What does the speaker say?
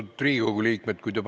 Austatud Riigikogu liikmed!